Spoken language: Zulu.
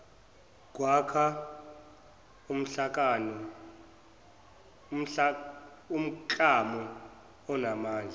kwakha umklamo onamandla